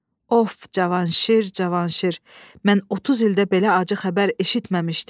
Of Cavanşir, Cavanşir, mən 30 ildir belə acı xəbər eşitməmişdim.